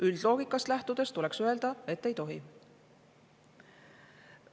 Üldloogikast lähtudes tuleks öelda, et ei tohi.